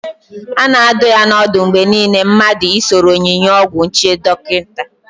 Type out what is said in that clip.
A na adụ ya n'ọdụ mgbe niile mmadụ I soro onyinye ọgwụ nje dọkịta